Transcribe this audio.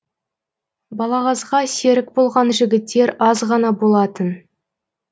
балағазға серік болған жігіттер аз ғана болатын